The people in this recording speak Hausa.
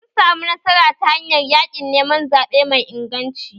Sun samu nasara ta hanyar yaƙin neman zaɓe mai inganci